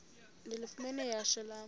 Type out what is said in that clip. ndilifumene ihashe lam